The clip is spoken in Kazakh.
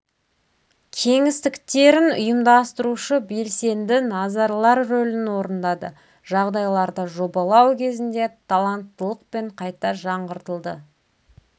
кеңістіктерін ұйымдастырушы белсенді назарлар рөлін орындады жағдайларда жобалау кезінде таланттылықпен қайта жаңғыртылды